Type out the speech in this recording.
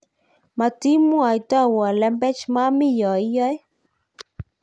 matimwaitowo lembech maami yoe iyoe